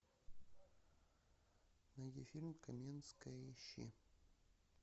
найди фильм каменская ищи